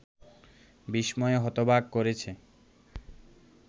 বিস্ময়ে হতবাক করেছে